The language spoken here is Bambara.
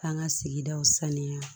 K'an ka sigidaw saniya